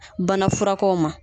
Bana furakow ma